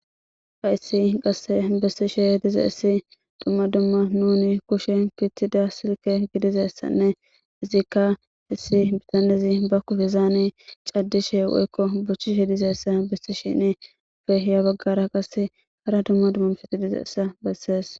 Hayssi qasse bessishe dizayssi dumma dumma nuuni kushiyan oykki uttida silkke oyqqi dizayssanne izikka hesse betaneezi ba kushshezaani cadishe woykko bochchishe dizassa bessishini keehi yabagara qasse hara dumma dummabati dizayssa besees.